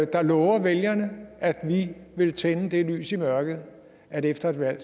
der lover vælgerne at vi vil tænde det lys i mørket at efter et valg